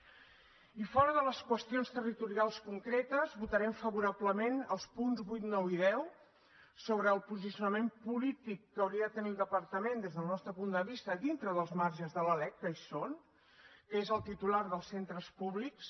i fora de les qüestions territorials concretes votarem favorablement als punts vuit nou i deu sobre el posicionament polític que hauria de tenir el departament des del nostre punt de vista dintre dels marges de la lec que hi són que és el titular dels centres públics